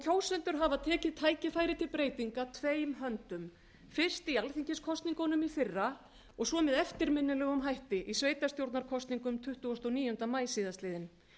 kjósendur hafa tekið tækifæri til breytinga tveim höndum fyrst í alþingiskosningunum í fyrra og svo með eftirminnilegum hætti í sveitarstjórnarkosningum tuttugasta og níunda maí síðastliðinn